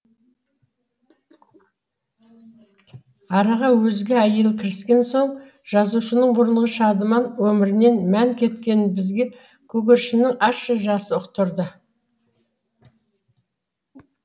араға өзге әйел кіріскен соң жазушының бұрынғы өмірінен мән кеткенін бізге көгершіннің ащы жасы ұқтырады